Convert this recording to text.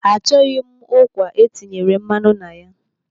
Achọghị m ụkwa etinyere mmanụ na ya.